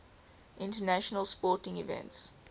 international sporting events